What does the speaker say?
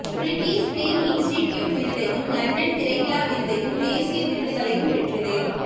British Film Institute விருதையும் London திரைவிழா விருதையும் தேசியவிருதுகளையும் பெற்றது